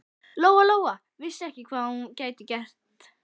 Lóa Lóa vissi ekki hvað hún gæti þá gert.